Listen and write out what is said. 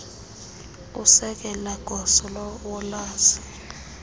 usekela gosa wolwazi